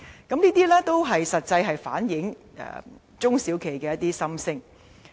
"這些都實際反映了中小企的心聲。